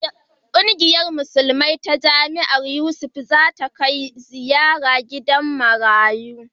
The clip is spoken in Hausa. Kungiyar musulmai ta jami'ar Yusuf Maitama Sule da ke Kana za ta kai ziyara gidan marayu.